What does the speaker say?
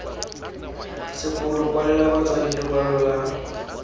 sekolo kwalela batsadi lekwalo la